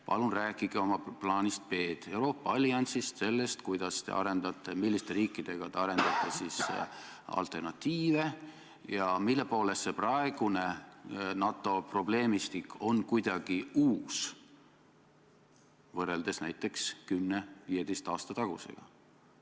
Palun rääkige oma plaanist B, Euroopa alliansist, sellest, kuidas ja milliste riikidega te arendate alternatiive ja mille poolest see praegune NATO probleemistik on kuidagi uus, võrreldes näiteks kümne või viieteistkümne aasta tagusega.